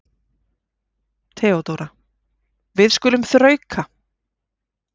THEODÓRA: Við skulum þrauka.